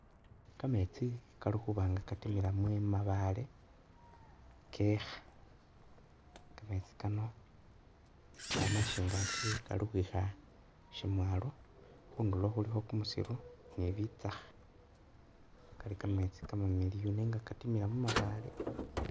Kametsi kalikhuba nga katimila mumabale kekha kametsi Kano kamashangaki Kali khukhwikha shamwalo khundulo khulikho kumusiru ni bitsaakha Kali kametsi kamamiliyu nenga katimila mumabale